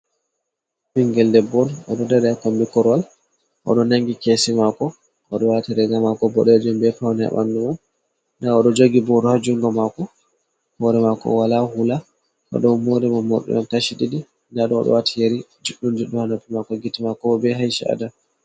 Ɓingel debbo on o ɗo dai dai kombi korwal, o ɗo nangi keshi mako, o ɗo wati riga mako boɗejum be pawne ha ɓandu mai, nda o ɗo jogi boro ha junga mako, hore mako wala hula, o ɗo mori morɗi hon kashi ɗiɗi, o ɗo wati yeri juɗdum juɗɗum ha noppi mako, gite mako bo be aisha’ado.